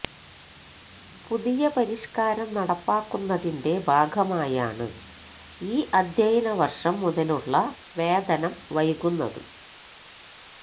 പുതിയ പരിഷ്കാരം നടപ്പാക്കുന്നതിന്റെ ഭാഗമായാണ് ഈ അധ്യായന വര്ഷം മുതലുള്ള വേതനം വൈകുന്നത്